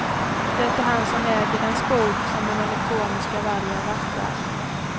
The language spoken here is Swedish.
Det är han som äger den skog, som den elektroniska vargen vaktar.